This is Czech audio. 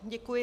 Děkuji.